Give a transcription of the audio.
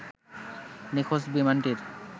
নিখোঁজ বিমানটির